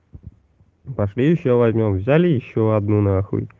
пошли ещё возьмём взяли ещё одну на хуй